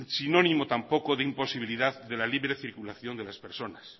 sinónimo tampoco de imposibilidad de la libre circulación de las personas